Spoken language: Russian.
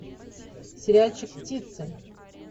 сериальчик птицы